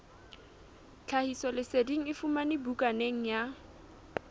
tlhahisoleseding e fumanwe bukaneng ya